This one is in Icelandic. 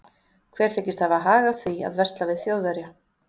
Hver þykist hafa hag af því að versla við Þjóðverja?